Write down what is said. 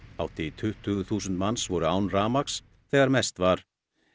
hátt í tuttugu þúsund manns voru án rafmagns þegar mest var